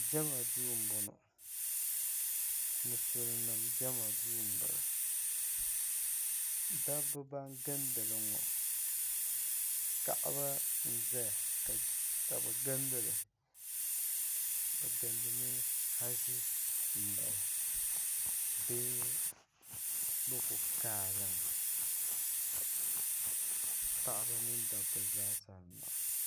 jama duu n bɔŋɔ musulinim jama duu n bala daba ban gilindiliŋɔ kaɣaba n ʒɛya ka bɛ gilindilibɛ gilindimi hazi duu n bala bee bɛ kuli kaalimi paɣa mini dab ba zaa sa m bala